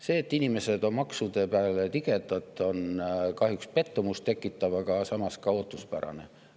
See, et inimesed on maksude peale tigedad, tekitab kahjuks pettumust, aga samas on ka ootuspärane.